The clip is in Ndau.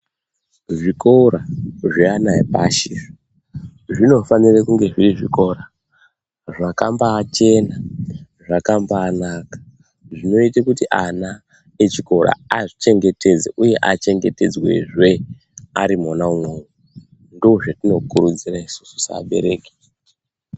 Zvikora zveana epashi izvo zvinofanire kunge zviri zvikora zvakambaachena zvakambaanaka zvinoita kuti ana echikora azvichengetedze uye achengetedzwezve ari mwona umwomwo ndozvatinokurudzira isusu sevabereki.